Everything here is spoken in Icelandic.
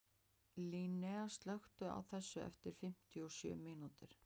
Linnea, slökktu á þessu eftir fimmtíu og sjö mínútur.